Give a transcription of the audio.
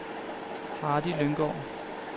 Hardy Lynggaard